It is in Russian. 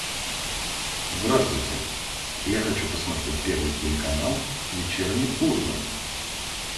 здравствуйте я хочу посмотреть первый телеканал вечерний ургант